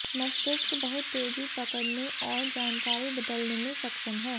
मस्तिष्क बहुत तेजी पकड़ने और जानकारी बदलने में सक्षम है